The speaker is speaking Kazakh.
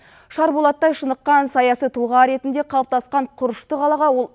шар болаттай шыныққан саяси тұлға ретінде қалыптасқан құрышты қалаға ол